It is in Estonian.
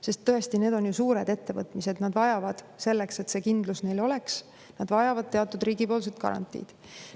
Sest tõesti, need on ju suured ettevõtmised, vajavad selleks, et neil kindlus oleks, teatud riigipoolset garantiid.